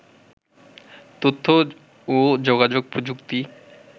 তথ্য ও যোগাযোগ প্রযুক্তি